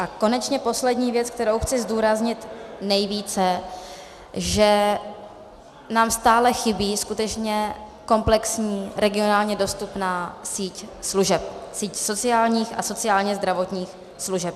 A konečně poslední věc, kterou chci zdůraznit nejvíce, že nám stále chybí skutečně komplexní, regionálně dostupná síť služeb, síť sociálních a sociálně-zdravotních služeb.